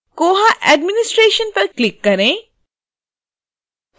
koha administration पर click करें